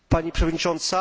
Pani przewodnicząca!